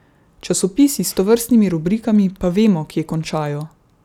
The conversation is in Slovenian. Časopisi s tovrstnimi rubrikami pa vemo, kje končajo.